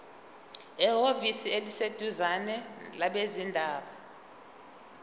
ehhovisi eliseduzane labezindaba